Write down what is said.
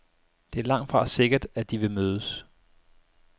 Det er langtfra sikkert, at de vil mødes.